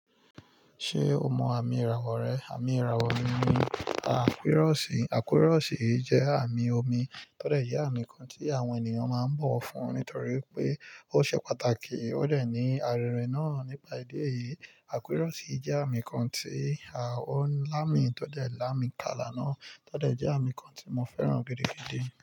Ṣé o mọ àmì ìràwọ̀ rẹ? Àmì ìràwọ̀ mi ni àkúrọ́ọ̀sì. Àkúrọ́ọ̀sì jẹ́ àmì omi tó lè jẹ́ àmì kan tí àwọn ènìyàn máa ń bọ̀ fún nítorí pé ó ṣe pàtàkì. Ó lè ní àrẹrinà nípa ìdí èyí. Akurosi je ami kan ti o lami to de lami kala na to de je ami ti mo feran gidigidi.